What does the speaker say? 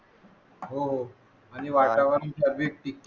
हो हो आणि वातावरण